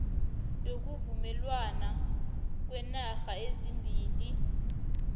yokuvumelwana kweenarha ezimbili